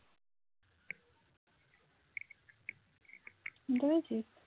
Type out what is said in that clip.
শুনতে পাচ্ছিস